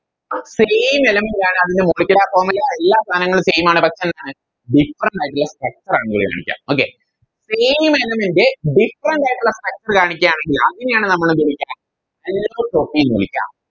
Same element നെ ആണ് അതിൻറെ Molicular formula എല്ലാ സാനങ്ങളും Same ആണ് പക്ഷെ എന്താണ് Different ആയിട്ടുള്ള Structure ആണ് ഉപയോഗിക്ക okaySame element ന്റെ different ആയിട്ടുള്ള Structure കാണിക്കാണെങ്കില് അതിനെയാണ് നമ്മളെന്ത് വിളിക്ക Allotrope എന്ന് വിളിക്ക